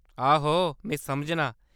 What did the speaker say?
आहो, में समझनां ।